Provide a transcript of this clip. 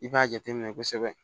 I b'a jateminɛ kosɛbɛ